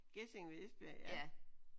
Gjesing ved Esbjerg ja